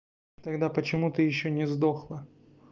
тогда почему ты ещё не сдохла